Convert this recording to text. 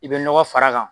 I bɛ nɔgɔ far'a kan